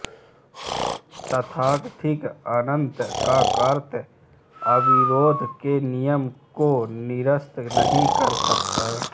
तथाकथित अनंत का तर्क अविरोध के नियम को निरस्त नहीं कर सकता